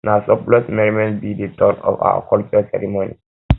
na surplus merriment be dey tone of our cultural ceremony